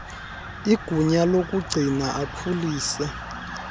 igunya lokugcina akhulise